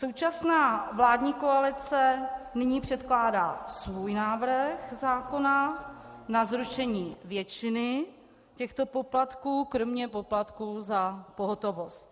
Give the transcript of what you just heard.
Současná vládní koalice nyní předkládá svůj návrh zákona na zrušení většiny těchto poplatků, kromě poplatků za pohotovost.